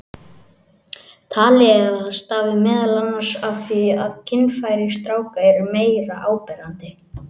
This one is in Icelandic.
Talið er að það stafi meðal annars af því að kynfæri stráka eru meira áberandi.